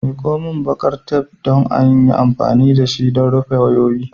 Miko min baƙar taf don in yi amfani da shi don rufe wayoyi.